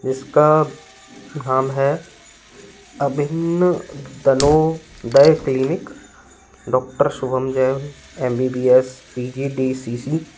इसका नाम है अभिन्न दनोदय clinic doctor Shubham Jain MBBS PGDCC.